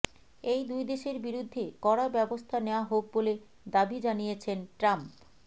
এই দুই দেশের বিরুদ্ধে কড়া ব্যবস্থা নেওয়া হোক বলে দাবি জানিয়েছেন ট্রাম্প